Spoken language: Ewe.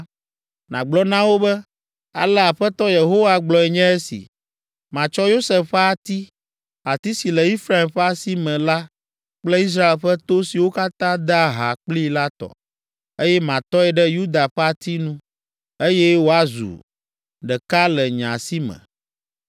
nàgblɔ na wo be, ‘Ale Aƒetɔ Yehowa gblɔe nye esi: Matsɔ Yosef ƒe ati, ati si le Efraim ƒe asi me la kple Israel ƒe to siwo katã dea ha kplii la tɔ, eye matɔe ɖe Yuda ƒe ati nu, eye woazu ɖeka le nye asi me.’